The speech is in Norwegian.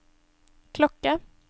klokke